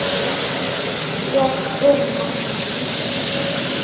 Ég urra.